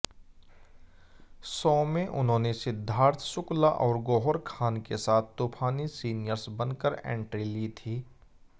show में उन्होंनेसिद्धार्थ शुक्ला और गौहर खान के साथ तूफानी सीनियर्स बनकर एंट्री ली थी